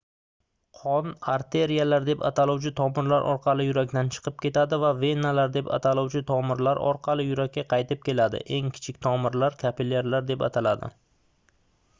qon arteriyalar deb ataluvchi tomirlar orqali yurakdan chiqib ketadi va venalar deb ataluvchi tomirlar orqali yurakka qaytib keladi eng kichik tomirlar kapillyarlar deb ataladi